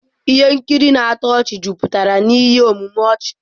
Ihe nkiri na-atọ ọchị juputara na ihe omume ọchị.